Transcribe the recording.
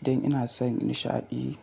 Idan ina son nishaɗi